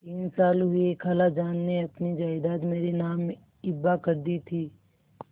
तीन साल हुए खालाजान ने अपनी जायदाद मेरे नाम हिब्बा कर दी थी